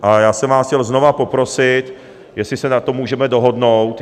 A já jsem vás chtěl znovu poprosit, jestli se na tom můžeme dohodnout.